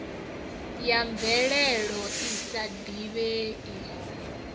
ya mvelelo i sa divhei